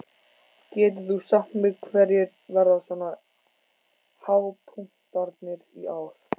Getur þú sagt mér hverjir verða svona hápunktarnir í ár?